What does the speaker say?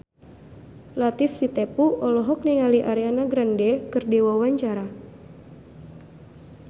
Latief Sitepu olohok ningali Ariana Grande keur diwawancara